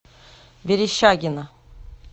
верещагино